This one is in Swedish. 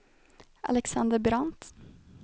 Alexander Brandt